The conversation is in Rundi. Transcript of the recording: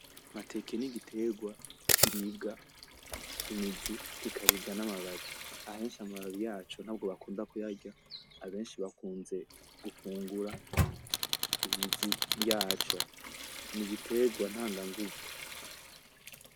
Amateke nigiterwa kiribwa imizi kikaribwa namababi. Abenshi amababi yaco ntabwo bakunzwe kuyarya, abenshi bakunda gufungura imizi yaco. Nigiterwa ntanganguvu.